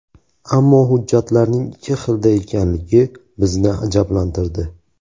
Ammo hujjatlarning ikki xilda ekanligi bizni ajablantirdi.